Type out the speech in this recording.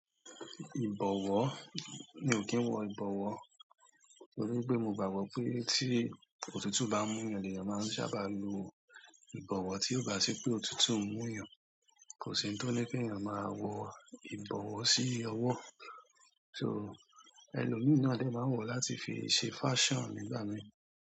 Ìgbówó, mi ò kí n wò ìgbówó torí pé mo gbàgbọ́ pé tí òtútù bá ń mú yàn ni èèyàn máa ń sábà lo ìgbówó tí ó bá sì pé òtútù mú yàn. Kò sí ohun tó ní ké ènìyàn máa wọ ìbọ̀wọ́ sí ọwọ́. To, ẹlòmí náà dè máa ń wọ̀ láti fi ṣe fashion nígbà mi.